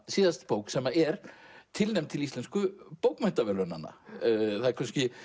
síðast bók sem er tilnefnd til Íslensku bókmenntaverðlaunanna það er